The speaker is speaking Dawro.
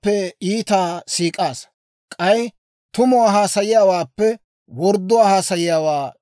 Neenoo, worddanchchaw, neeni k'ohiyaa k'aalaa ubbaa siik'aasa.